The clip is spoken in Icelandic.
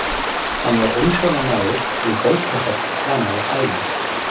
Hann var umsjónarmaður við bókasafn framan af ævinni.